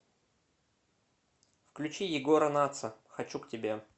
включи егора натса хочу к тебе